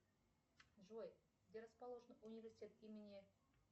джой где расположен университет имени